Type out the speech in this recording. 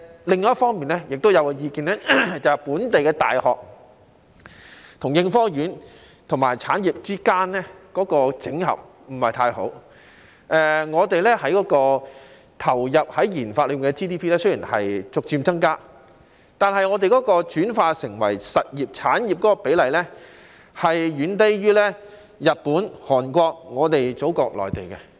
另一方面，也有意見認為，本地大學與應科院和產業之間的整合不是太好，我們投放於研發的 GDP 雖然逐漸增加，但轉化成為實業產業的比例，遠低於日本、韓國和我們的祖國內地。